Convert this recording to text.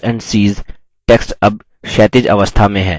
text अब क्षैतिज अवस्था में है